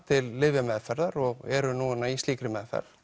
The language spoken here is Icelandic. til lyfjameðferðar og eru núna í slíkri meðferð